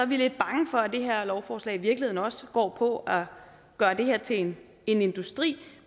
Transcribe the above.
vi lidt bange for at det her lovforslag i virkeligheden også går på at gøre det her til en industri